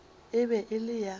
e be e le ya